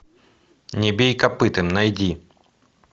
не бей копытом найди